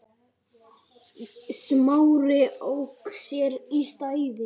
Smári ók sér í sætinu.